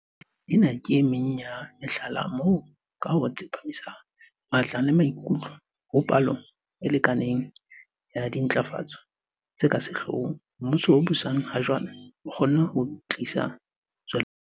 Ena ke emeng ya mehlala moo, ka ho tsepamisa matla le maikutlo ho palo e lekaneng ya dintlafatso tse ka sehloohong, mmuso o busang ha jwale o kgonne ho tlisa tswelopele.